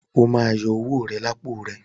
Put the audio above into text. O má yọ owó rẹ lápò rẹ!